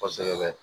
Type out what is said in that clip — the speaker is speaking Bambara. Kɔsɛbɛ